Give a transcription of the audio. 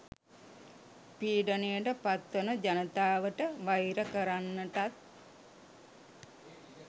පීඩනයට පත් වන ජනතාවට වෛර කරන්නටත්